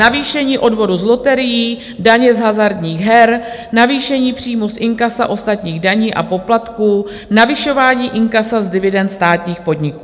Navýšení odvodu z loterií, daně z hazardních her, navýšení příjmů z inkasa ostatních daní a poplatků, navyšování inkasa z dividend státních podniků.